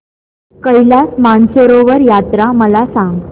कैलास मानसरोवर यात्रा मला सांग